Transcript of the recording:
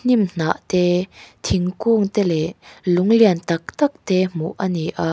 hnimhnah te thingkung te leh lung lian tak tak te hmuh a ni a.